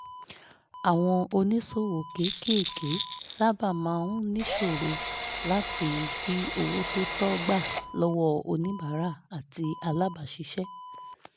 àwọn oníṣòwò kéékèèké sáábà máa ń níṣòro láti rí owó tó tọ́ gbà lọ́wọ́ oníbàárà àti alábàáṣiṣẹ́